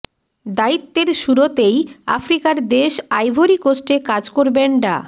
দায়িত্বের শুরতেই আফ্রিকার দেশ আইভরি কোস্টে কাজ করবেন ডা